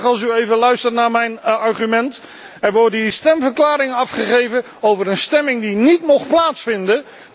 Ik vind het wel prettig als u even luistert naar mijn argument. Er worden hier stemverklaringen afgegeven over een stemming die niet mocht plaatsvinden.